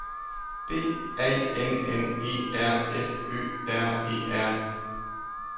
B A N N E R F Ø R E R